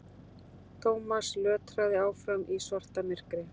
Thomas lötraði áfram í svartamyrkri.